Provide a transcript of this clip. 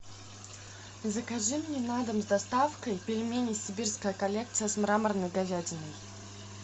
закажи мне на дом с доставкой пельмени сибирская коллекция с мраморной говядиной